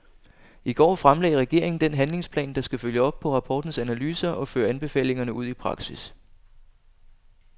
I går fremlagde regeringen den handlingsplan, der skal følge op på rapportens analyser og føre anbefalingerne ud i praksis.